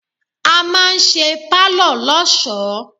A máa ń ṣe Pálọ̀ lọ́sọ̀ọ́.